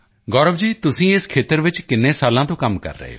ਗੌਰਵ ਜੀ ਤੁਸੀਂ ਇਸ ਖੇਤਰ ਚ ਕਿੰਨੇ ਸਾਲਾਂ ਤੋਂ ਕੰਮ ਕਰ ਰਹੇ ਹੋ